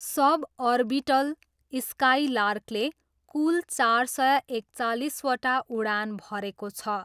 सब orbital स्काइलार्कले कूल चार सय एकचालिसवटा उडान भरेको छ।